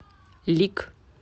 лик